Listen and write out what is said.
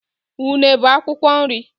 Unune bụ akwụkwọ nri.